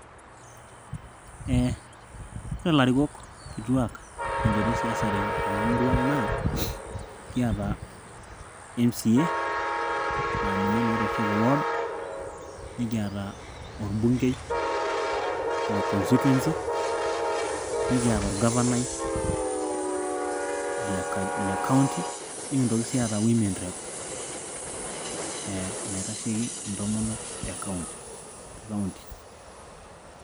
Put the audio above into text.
Ore ilarikok kituak tenchoto esiasa tenamurua ang' naa kiata MCA laa ninye naa oitasheiki ward, nikiata olbungei le constituency, nikiyata olgavanai le kaunti nikintoki sii aata Women rep naitasheiki imtomonok e kaunti tekaunti.